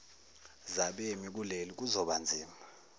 zabemi bakuleli kuzobanzima